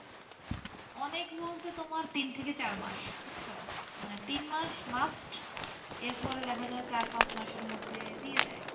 অনেক বলতে তোমার তিন থেকে চার মাস বুঝছো, মানে তিনমাস must এরপরে দেখা যায় চার পাঁচ মাসের মধ্যে দিয়ে দেয়।